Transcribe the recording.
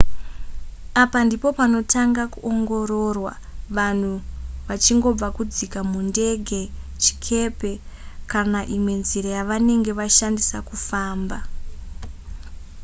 apa ndipo panotanga kuongororwa vanhu vachangobva kudzika mundege chikepe kana imwe nzira yavanenge vashandisa kufamba